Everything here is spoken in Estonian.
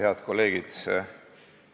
Head kolleegid!